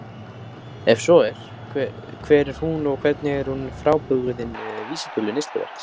Ef svo er, hver er hún og hvernig er hún frábrugðin vísitölu neysluverðs?